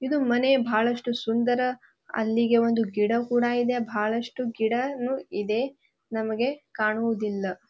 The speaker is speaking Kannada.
ಇದು ಮನೆ ಬಹಳಷ್ಟು ಸುಂದರ ಅಲ್ಲಿಗೆ ಒಂದು ಗಿಡ ಕೂಡ ಇದೆ ಬಹಳಷ್ಟು ಗಿಡನೂ ಇದೆ ನಮ್ಗೆ ಕಾಣುವುದಿಲ್ಲ.